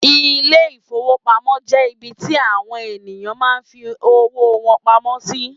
Ile-ìfowópamó jẹ ibì tí àwọn ènìyàn máa ń fí owó wọn pamọ́ sí